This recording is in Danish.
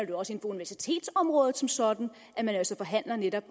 det også på universitetsområdet som sådan at man altså forhandler netop